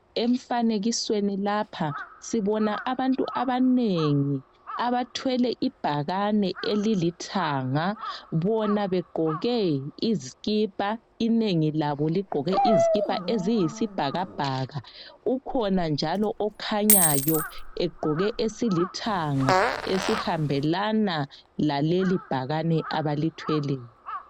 Emfanekisweni lapha sibona abantu abanengi abathwele ibhakane elilithanga bona begqoke izikipa, inengi labo ligqoke izikipa eziyisibhakabhaka. Ukhona njalo okhanyayo egqoke esilithanga esihambelana laleli bhakane abalithweleyo.